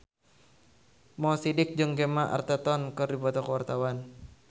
Mo Sidik jeung Gemma Arterton keur dipoto ku wartawan